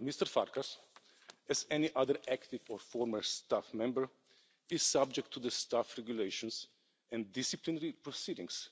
Mr Farkas, as any other active or former staff member, is subject to the Staff Regulations and disciplinary proceedings